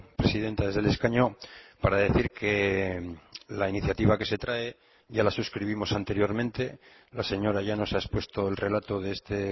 presidenta desde el escaño para decir que la iniciativa que se trae ya la suscribimos anteriormente la señora llanos ha expuesto el relato de este